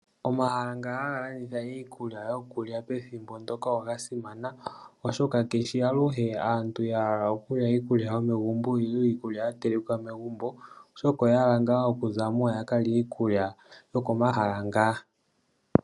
Omahala nga haga landitha iikulya yokulya pethimbo mpoka oga simana, oshoka haa luhe aantu ya hala okulya iikulya yomegumbo nenge iikulya ya telekwa megumbo, oshoka oya hala ngaa okuza mo ya ka lye iikulya yokomahala ngaka.